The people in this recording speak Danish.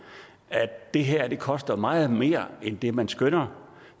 at det her koster meget mere end det man skønner